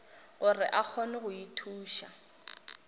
gore a kgone go ithuša